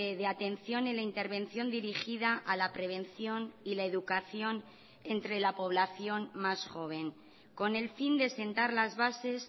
de atención en la intervención dirigida a la prevención y la educación entre la población más joven con el fin de sentar las bases